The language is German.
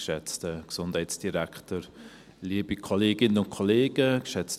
Ich hoffe, ich habe das richtig nachgeschaut.